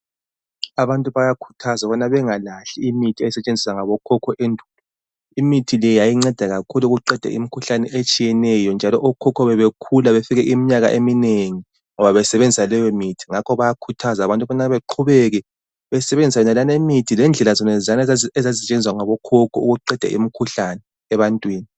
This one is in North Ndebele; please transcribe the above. Abantu bayakhuthazwa ukubana bengalahli imithi ebisetshenziswa ngabokhokho endulo. Imithi le yayinceda kakhulu ekulapheni imikhuhlane etshiyeneyo njalo okhokho bebekhula befike iminyaka eminengi ngoba besebenzisa leyomithi. Ngakho bayakhuthaza abantu ukubana baqhubeke besenzisa imithi lendlela zonezana ukuqeda imikhuhlane ebantwini